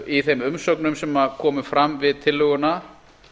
í þeim umsögnum sem komu fram við tillöguna